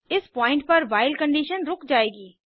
इस पॉइंट पर while condition रुक जाएगी